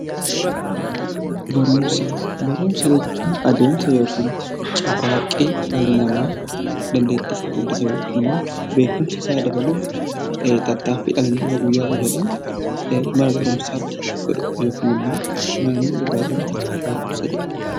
Barumsa, barumsa jechuun adeemsa yookiin carraaqqii dhalli namaa dandeettii isaa guddisuuf yookiin immoo beekumsa isaa dabaluuf tattaaffii dhalli namaa guyyaa guyyaadhaan mana barumsaatti godhu yookaan naannoo irraa baratu barumsa jedhama.